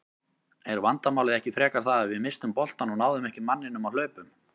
Er vandamálið ekki frekar það að við misstum boltann og náðum ekki manninum á hlaupum?